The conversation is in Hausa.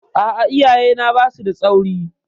A'a, iyayena ba su da tsauri.